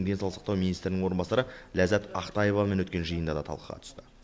денсаулық сақтау министрінің орынбасары ләззат ақтаевамен өткен жиында да талқыға түсті